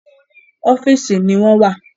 Ọ́fìsì ni wọ́n wà.